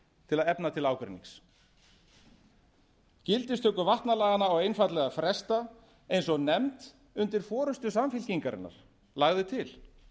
til að efna ágreinings gildistöku vatnalaganna á einfaldlega að fresta eins og nefnd undir forustu samfylkingarinnar lagði til